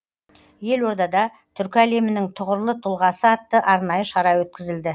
елордада түркі әлемінің тұғырлы тұлғасы атты арнайы шара өткізілді